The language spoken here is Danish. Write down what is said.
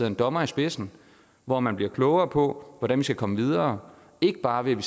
en dommer i spidsen hvor man bliver klogere på hvordan vi skal komme videre ikke bare ved